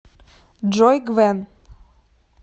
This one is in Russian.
джой гвен